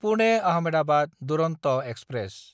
पुने–आहमेदाबाद Duronto express